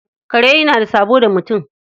Kare yana da sabo da mutum.